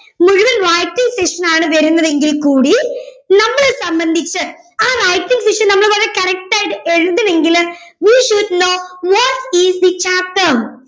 മുഴുവൻ writing session ആണ് വരുന്നതെങ്കിൽ കൂടി നമ്മളെ സംബന്ധിച്ച് ആ writing session നമ്മള് വളരെ correct ആയിട്ട് എഴുതണെങ്കില് we should know what is the chapter